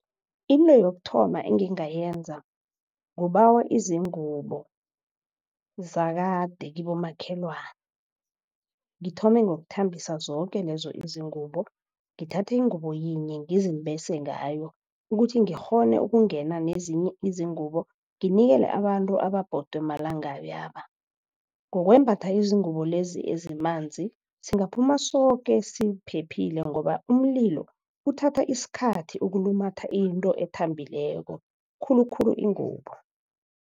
Into yokuthoma engingayenza kubawa izingubo zakade kibomakhelwani. Ngithome ngokuthembisa zoke lezo izingubo ngithathe ingubo yinye ngizimbese ngayo ukuthi ngikghone ukungena nezinye izingubo nginikele abantu ababodwe malangabi yaba. Ngokwembatha izingubo lezi ezimanzi singaphuma soke siphephile ngoba umlilo uthatha isikhathi ukulumatha into ethambileko khulukhulu ingubo.